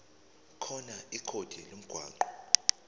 khona ikhodi lomgwaqo